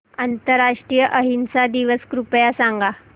आंतरराष्ट्रीय अहिंसा दिवस कृपया सांगा